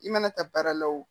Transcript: I mana taa baara la o